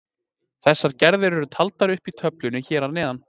Þessar gerðir eru taldir upp í töflunni hér að neðan.